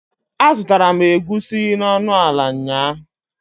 A zutara m Egusi n'onuala nyaa